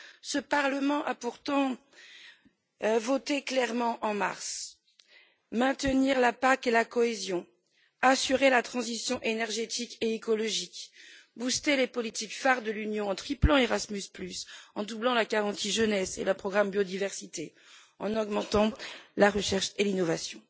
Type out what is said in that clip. Ce Parlement a pourtant voté clairement en mars maintenir la PAC et la cohésion, assurer la transition énergétique et écologique, stimuler les politiques phares de l'Union en triplant Erasmus, en doublant la garantie jeunesse et le programme biodiversité, en augmentant la recherche et l'innovation.